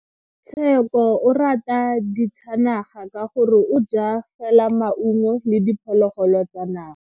Tsheko o rata ditsanaga ka gore o ja fela maungo le diphologolo tsa naga.